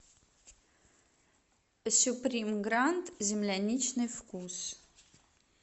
сюприм гранд земляничный вкус